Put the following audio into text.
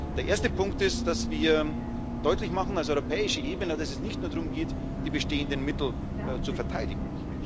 Der erste Punkt ist, dass wir deutlich machen als europäische Ebene, dass es nicht nur darum geht, die bestehenden Mittel zu verteidigen.